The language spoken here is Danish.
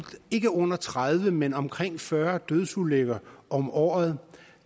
ikke under tredive men omkring fyrre dødsulykker om året